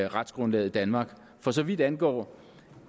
retsgrundlaget i danmark for så vidt angår